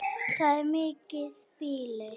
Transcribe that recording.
Það er mikið býli.